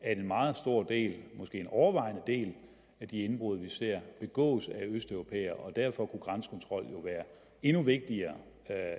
at en meget stor del måske en overvejende del af de indbrud vi ser begås af østeuropæere og derfor kunne grænsekontrol jo være endnu vigtigere